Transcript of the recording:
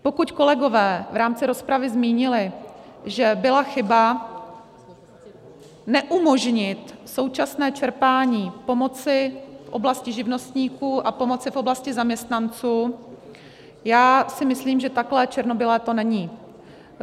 Pokud kolegové v rámci rozpravy zmínili, že byla chyba neumožnit současné čerpání pomoci v oblasti živnostníků a pomoci v oblasti zaměstnanců, tak si myslím, že takové černobílé to není.